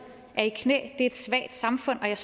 er i knæ er et svagt samfund og jeg